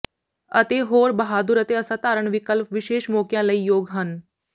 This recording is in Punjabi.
ਅਤੇ ਹੋਰ ਬਹਾਦੁਰ ਅਤੇ ਅਸਾਧਾਰਣ ਵਿਕਲਪ ਵਿਸ਼ੇਸ਼ ਮੌਕਿਆਂ ਲਈ ਯੋਗ ਹਨ